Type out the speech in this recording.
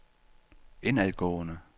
indadgående